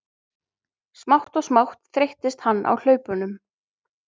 Smátt og smátt þreyttist hann á hlaupunum.